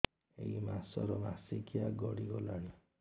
ଏଇ ମାସ ର ମାସିକିଆ ଗଡି ଗଲାଣି